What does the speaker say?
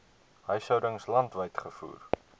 huishoudings landwyd gevoer